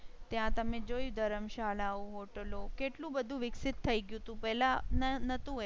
ત્યાં તમે જોઈ ધર્મશાળાઓ હોટલો કેટલું બધું વિકસિત થઇ ગયું હતુ પેલા નતુ એવું.